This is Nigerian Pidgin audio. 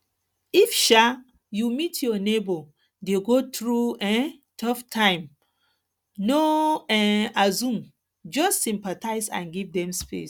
if um you meet your neigbour dey go through um tough time no um assume just sympathize and give dem space